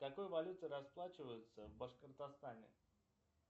какой валютой расплачиваться в башкортостане